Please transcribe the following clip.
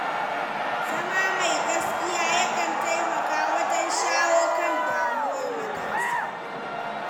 Zama mai gaskiya yakan taimaka wajen shawo kan damuwar matasa.